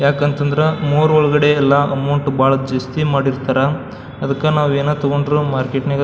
ಯಾಕ್ ಅಂತ ಅಂದ್ರ ಮೋರ್ ಒಳಗಡೆ ಎಲ್ಲ ಅಮೌಂಟ್ ಬಹಳ ಜಾಸ್ತಿ ಮಾಡಿರ್ತರ ಅದಕ್ಕ ನಾವ್ ಯೇನ ತಗೊಂಡ್ರು ಮಾರ್ಕೆಟ್ ನಾಗ --